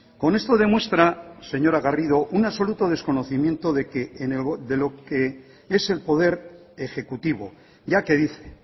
con esto demuestra señora garrido un absoluto desconocimiento de que de lo que es el poder ejecutivo ya que dice